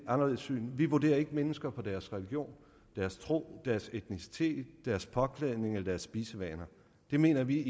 anderledes syn vi vurderer ikke mennesker på deres religion deres tro deres etnicitet deres påklædning eller deres spisevaner det mener vi